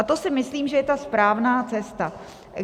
A to si myslím, že je ta správná cesta.